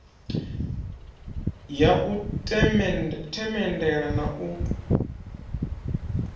ya u themendela na u